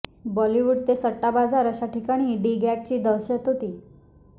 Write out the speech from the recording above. बॉलीवूड ते सट्टा बाजार अशा ठिकाणी डी गॅगची दहशत होती